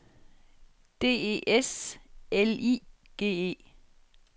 D E S L I G E